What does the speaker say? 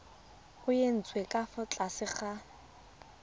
nyetswe ka fa tlase ga